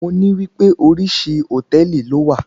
Mo ní wípé oríṣi hòtẹ́ẹ̀lì ló wà.